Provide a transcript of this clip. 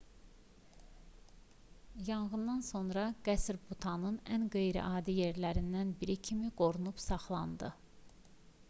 yanğından sonra qəsr butanın ən qeyri-adi yerlərindən biri kimi qorunub saxlandı